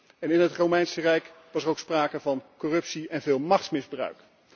En in het Romeinse Rijk was er ook sprake van corruptie en veel machtsmisbruik.